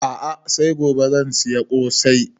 A'a sai gobe zan saya ƙosai